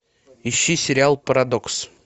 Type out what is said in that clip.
ищи сериал парадокс